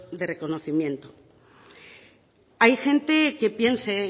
de reconocimiento hay gente que piense